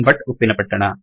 Bhat Uppinapattana